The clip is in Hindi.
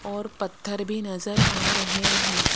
और पत्थर भी नजर आ रहे हैं।